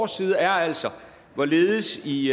side er altså hvorledes i